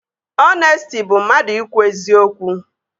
Ọnesti bụ mmadụ ikwu eziokwu